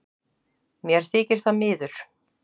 Mér þykir það miður